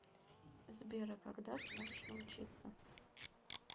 сбер а когда сможешь научиться